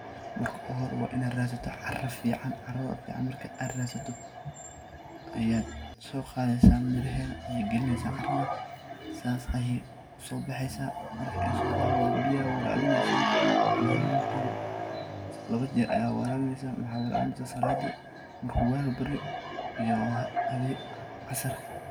Marka hore waa inaad radsato caro fican, carada fican markaa aad radsato ayaad so qadesa miraheda ayaa galinesa carada sas ayey u so baxesa. Marka ay so baxdo biyo ayaa warabinesa, malintiba laba jeer ayaa warabinesa maxa warabinesa , marku wago baryo iyo hawenki casarki.